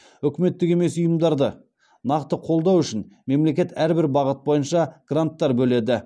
үкіметтік емес ұйымдарды нақты қолдау үшін мемлекет әрбір бағыт бойынша гранттар бөледі